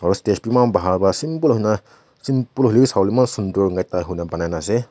aru stage eman bhan para simple hoi kina simple hoile bhi sabo le mon--